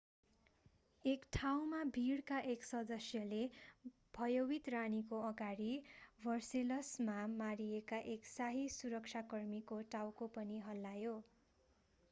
एक ठाउँमा भिडका एक सदस्यले भयवित रानीको अगाडि भर्सेलसमा मारिएका एक शाही सुरक्षाकर्मीको टाउको पनि हल्लायो